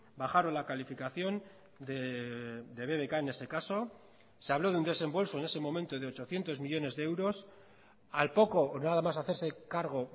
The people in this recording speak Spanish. bajaron la calificación de bbk en ese caso se habló de un desembolso en ese momento de ochocientos millónes de euros al poco o nada más hacerse cargo